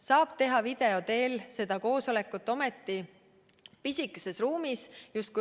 Saab ometi teha video teel koosolekut pisikeses ruumis.